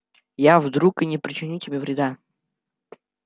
я вдруг и не причиню тебе вреда